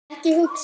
Ekki hugsun.